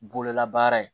Bololabaara ye